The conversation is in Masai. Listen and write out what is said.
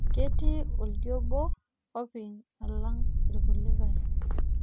Ketii oldia obo opi alang' ilkulie.